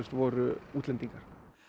voru útlendingar